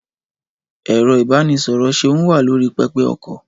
Ẹ̀rọ-ìbánisọ̀rọ̀ Seun wà lórí pẹpẹ-okọ̀.